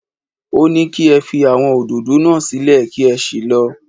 Ó ní kí ẹ fi àwọn òdòdó náà sílẹ̀ kí ẹ sì lọ